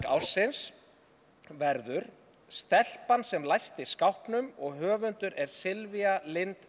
ársins verður stelpan sem læsti skápnum og höfundur er Sylvía Lind